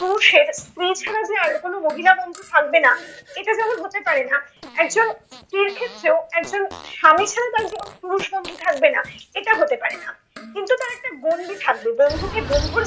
পুরুষের স্ত্রী ছাড়া যে আর কোন মহিলা বন্ধু থাকবে না, এটা যেমন হতে পারে না। একজন স্ত্রীর ক্ষেত্রেও একজন স্বামী ছাড়া তার জীবনে পুরুষ বন্ধু থাকবে না এটা হতে পারে না। কিন্তু তার একটা গণ্ডি থাকবে। বন্ধুকে বন্ধুর